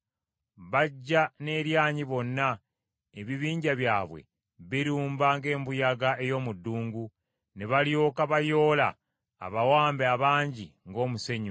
Bajja n’eryanyi bonna, ebibinja byabwe birumba ng’embuyaga ey’omu ddungu; ne balyoka bayoola abawambe abangi ng’omusenyu.